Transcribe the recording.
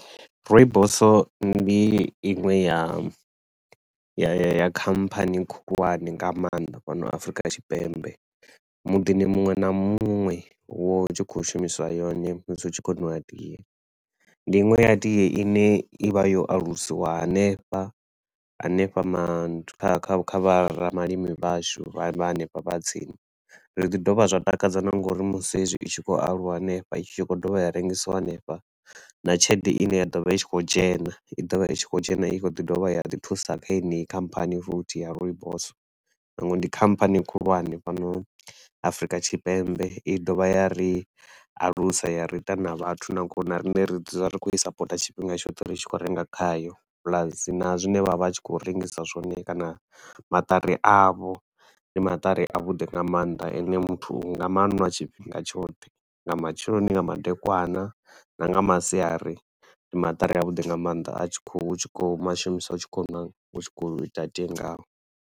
Rooibos ndi inwe ya ya ya ya khamphani khulwane nga maanḓa fhano Afrika Tshipembe. Muḓini muṅwe na muṅwe hu vha hu tshi khou shumiswa yone musi hu tshi khou nwiwa tie. Ndi inwe ya tie i ne i vha yo alusiwa hanefha, hanefha manth kha kha kha vha ramalimi vhashu vha hanefha vha tsini, zwi ḓi dovha zwa takadza na nga uri musi hezwi i tshi khou aluwa hanefha i tshi khou dovha ya rengisiwa hanefha. Na tshelede i ne ya ḓovha i tshi khou dzhena i ḓo vha i tshi khou dzhena i khou ḓi dovha ya ḓi thusa kha heneyi khamphani futhi ya Rooibos ndi khamphani khulwane fhano Afrika Tshipembe, i dovha ya ri alusa ya ri ita na vhathu na nga uri na riṋe ri dzula ri khou i supporter tshifhinga tshoṱhe ri tshi khou renga khayo. Plus, na zwine vha vha vha tshi khou rengisa zwone kana maṱari a vho ndi maṱari a vhuḓi nga maanḓa a ne muthu u nga manwa tshifhinga tshoṱhe. Nga matsheloni, nga madekwana na nga masiari, ndi maṱari a vhuḓi nga maanḓa a tshi khou, u tshi khou mashumisa u tshi khou na u tshi khou ita tie ngao.